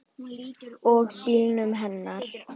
Og bílnum hennar.